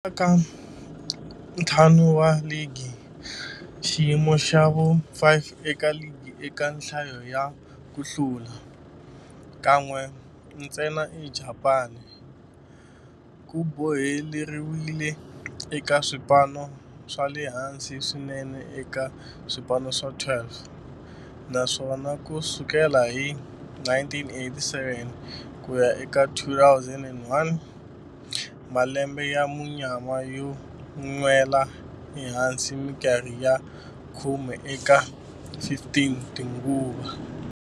Ka ntlhanu wa ligi, xiyimo xa vu-5 eka ligi eka nhlayo ya ku hlula, kan'we ntsena eJapani, ku boheleriwile eka swipano swa le hansi swinene eka swipano swa 12, naswona ku sukela hi 1987 ku ya eka 2001, malembe ya munyama yo nwela ehansi minkarhi ya khume eka 15 tinguva.